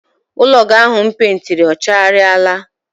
Ụlọ gị ahụ m peentiri ọ chaghariala?